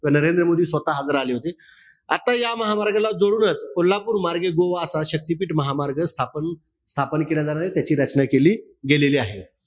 नरेंद्र मोदी स्वतः हजार राहिले होते. आता या महामार्गाला जोडूनच कोल्हापूर मार्गे गोवा असा शक्तीपीठ महामार्ग स्थापन स्थापन केला जाणारा त्याची रचना केलेली आहे.